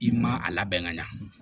I ma a labɛn ka ɲa